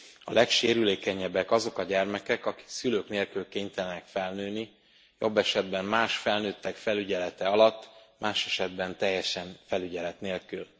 A legsérülékenyebbek azok a gyermekek, akik szülők nélkül kénytelenek felnőni, jobb esetben más felnőttek felügyelete alatt, más esetben teljesen felügyelet nélkül.